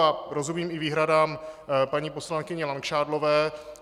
A rozumím i výhradám paní poslankyně Langšádlové.